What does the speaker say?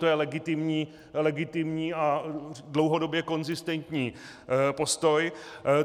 To je legitimní a dlouhodobě konzistentní postoj.